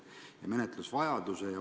Miks seda on vaja menetleda?